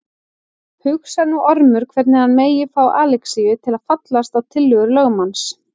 Hugsar nú Ormur hvernig hann megi fá Alexíus til að fallast á tillögur lögmanns.